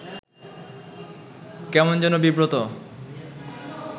কেমন যেন বিব্রত